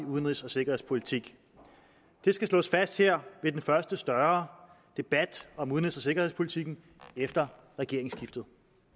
udenrigs og sikkerhedspolitik det skal slås fast her ved den første større debat om udenrigs og sikkerhedspolitikken efter regeringsskiftet